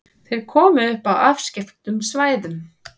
Þeir komu upp á afskekktum svæðum.